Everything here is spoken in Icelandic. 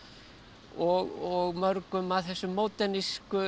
og mörgum af þessum